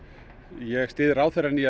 ég styð ráðherrann í